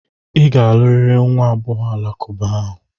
Ị ga-alụrịrị nwa agbọghọ alakụba ahụ!